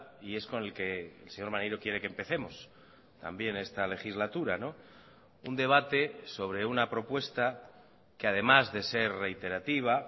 y es con el que el señor maneiro quiere que empecemos también esta legislatura un debate sobre una propuesta que además de ser reiterativa